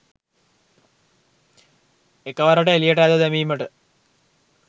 එකවරට එළියට ඇද දැමීමට